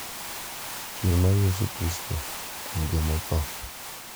Chier mar Yesu Kristo kuom joma otho, .